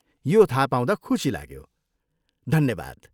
यो थाहा पाउँदा खुसी लाग्यो, धन्यवाद।